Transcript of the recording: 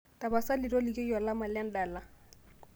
tapasali tolikioki olama le endala